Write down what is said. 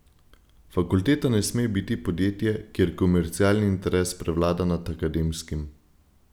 Fakulteta ne sme biti podjetje, kjer komercialni interes prevlada nad akademskim.